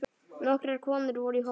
Nokkrar konur voru í hópnum.